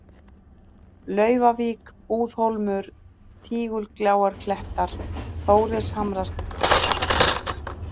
Laufavík, Búðhólmur, Tígulgjáarklettar, Þórishamarsbrekka